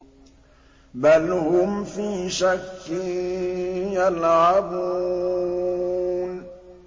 بَلْ هُمْ فِي شَكٍّ يَلْعَبُونَ